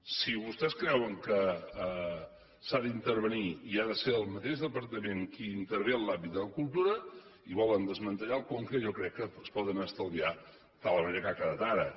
si vostès creuen que s’ha d’intervenir i ha de ser el mateix departament qui intervé en l’àmbit de la cultura i volen desmantellar el conca jo crec que es poden estalviar de la manera que ha quedat ara